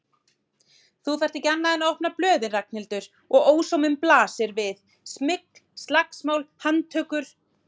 Þú þarft ekki annað en opna blöðin Ragnhildur og ósóminn blasir við, smygl, slagsmál, handtökur.